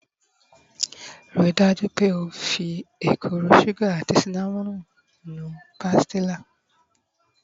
Rii daju pe o fi ekuru sugar ati cinnamon nu pastilla